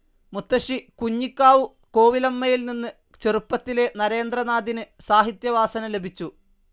മുത്തശ്ശി കുഞ്ഞിക്കാവു കോവിലമ്മയിൽ നിന്ന് ചെറുപ്പത്തിലേ നരേന്ദ്രനാഥിന് സാഹിത്യവാസന ലഭിച്ചു.